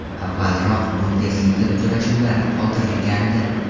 Avvalroq Bundesliga uchrashuvlari qoldirilgandi.